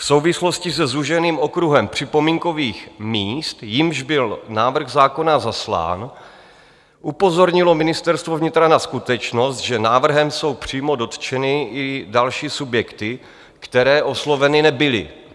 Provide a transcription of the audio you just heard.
V souvislosti se zúženým okruhem připomínkových míst, jimž byl návrh zákona zaslán, upozornilo Ministerstvo vnitra na skutečnost, že návrhem jsou přímo dotčeny i další subjekty, které osloveny nebyly.